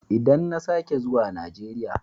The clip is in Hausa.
Idan na sake zuwa Najeriya.